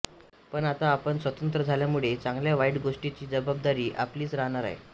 पण आता आपण स्वतंत्र झाल्यामुळे चांगल्या वाईट गोष्टीची जबाबदारी आपलीच राहणार आहे